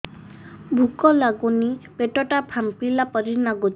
ଭୁକ ଲାଗୁନି ପେଟ ଟା ଫାମ୍ପିଲା ପରି ନାଗୁଚି